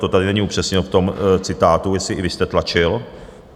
To tady není upřesnil v tom citátu, jestli i vy jste tlačil.